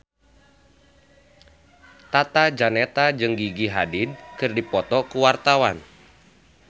Tata Janeta jeung Gigi Hadid keur dipoto ku wartawan